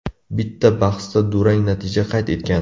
Bitta bahsda durang natija qayd etgan.